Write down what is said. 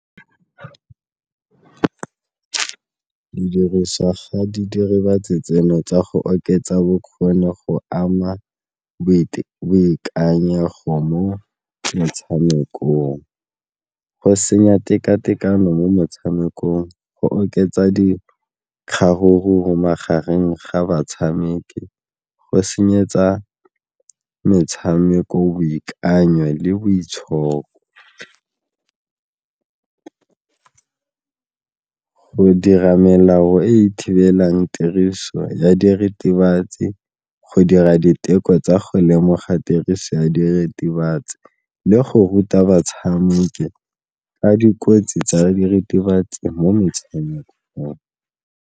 Didiriswa ga di diritibatsi tseno tsa go oketsa bokgoni go ama boikanyego mo motshamekong, go senya teka-tekano mo motshamekong, go oketsa di magareng ga batshameki, go senyetsa metshameko boikanyo le boitshoko. Go dira melao e thibelang tiriso ya diritibatsi, go dira diteko tsa go lemoga tiriso ya diritibatsi le go ruta batshameki ka dikotsi tsa diritibatsi mo metshamekong.